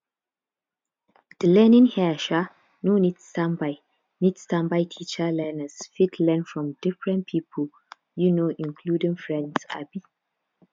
di learning here um no need standby need standby teacher learners fit learn from different pipo um including friends um